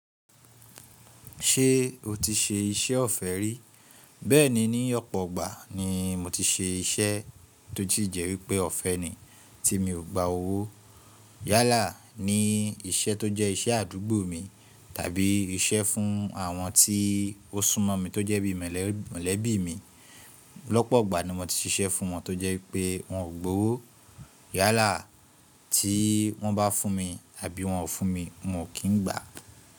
Ṣé o ti ṣe iṣẹ́ ọ̀fẹ́ rí? Bẹ́ẹ̀ni, ní ọ̀pọ̀ igbà ni mo ti ṣe iṣẹ́ tó sí jẹ́ wípẹ́ ọ̀fẹ́ ni tí mi ò gba owó. Yálà ní iṣẹ́ tó jẹ́ iṣẹ́ àdúgbò mi tàbí iṣẹ́ fún àwọn tí ó sún mọ̀ mi tó jẹ́ bí i mọ̀lẹ́bí mi. Ọ̀pọ̀ igbà ni mo ti ṣiṣẹ́ fún wọn tó jẹ́ wípẹ́ wọn ò gba owó. Yálà tí wọ́n bá fún mi àbí wọn ò fún mi, n ò kí n gbà.